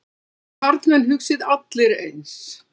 Þið karlmenn hugsið allir eins.